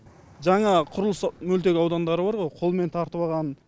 жаңа құрылыс мөлтек аудандары бар ғой қолмен тартып алған